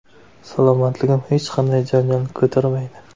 Salomatligim hech qanday janjalni ko‘tarmaydi.